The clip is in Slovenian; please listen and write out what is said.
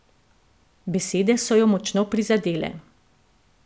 Besede so jo močno prizadele.